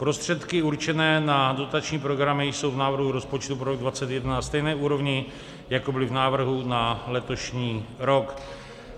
Prostředky určené na dotační programy jsou v návrhu rozpočtu pro rok 2021 na stejné úrovni, jako byly v návrhu na letošní rok.